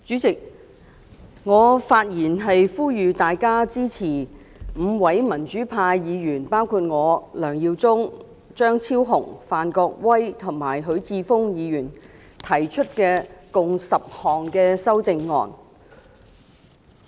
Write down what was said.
代理主席，我發言呼籲大家支持5位民主派議員，包括我、梁耀忠議員、張超雄議員、范國威議員及許智峯議員，提出的共10項修正案。